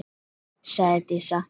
Sóley, sagði Dísa.